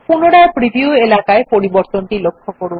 পুনরায় প্রিভিউ এলাকায় পরিবর্তনটি লক্ষ্য করুন